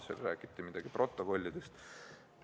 Siin räägiti midagi protokollidest.